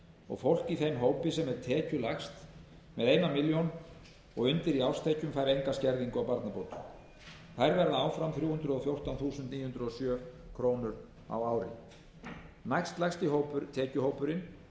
og fólk í þeim hópi sem er tekjulægst með einni milljón króna og undir í árstekjur fær enga skerðingu á barnabótum þær verða áfram þrjú hundruð og fjórtán þúsund níu hundruð og sjö krónur á ári næstlægsti tekjuhópurinn